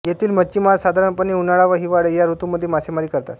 येथील मच्छिमार साधारणपणे उन्हाळा व हिवाळा या ऋतूंमध्ये मासेमारी करतात